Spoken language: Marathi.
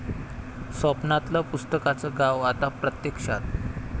स्वप्नातलं पुस्तकांचं गाव आता प्रत्यक्षात...!